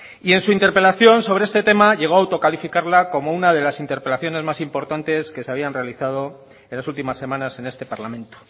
y en su interpelación sobre este tema llegó a autocalificarla como una de las interpelaciones más importantes que se habían realizado en las últimas semanas en este parlamento